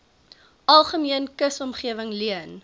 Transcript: algemene kusomgewing leen